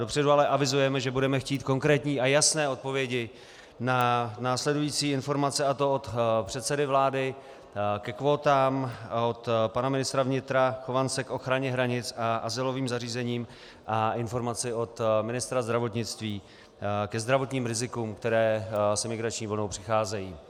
Dopředu ale avizujeme, že budeme chtít konkrétní a jasné odpovědi na následující informace, a to od předsedy vlády ke kvótám, od pana ministra vnitra Chovance k ochraně hranic a azylovým zařízením a informaci od ministra zdravotnictví ke zdravotním rizikům, která s imigrační vlnou přicházejí.